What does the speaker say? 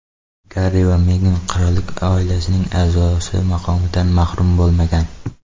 Garri va Megan qirollik oilasining a’zosi maqomidan mahrum bo‘lmagan.